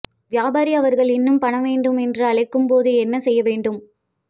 வியாபாரி அவர்கள் இன்னும் பணம் வேண்டும் என்று அழைக்கும் போது என்ன செய்ய வேண்டும்